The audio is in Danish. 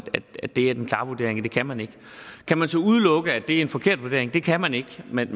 det kan man ikke kan man så udelukke at det er en forkert vurdering det kan man ikke men